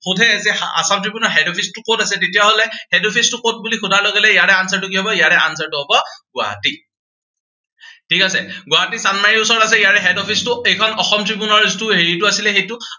সুধে যে আসাম ট্ৰিবিউনৰ head office টো কত আছে, তেতিয়া হলে head office টো কত বুলি সোধাৰ লগে লগে ইয়াৰে answer টো কি হব, ইয়াৰে answer টো হব গুৱাহাটী। ঠিক আছে। গুৱাহাটীৰ চান্দমাৰীৰ ওচৰত আছে ইয়াৰে head office টো। এইখন আসম ট্ৰিবিউনৰ হেৰিটো আছিলে সেইটো